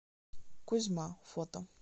кузьма фото